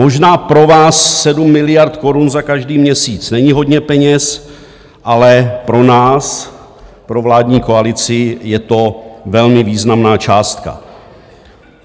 Možná pro vás 7 miliard korun za každý měsíc není hodně peněz, ale pro nás, pro vládní koalici, je to velmi významná částka.